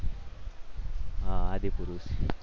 હા આદિપુરુષ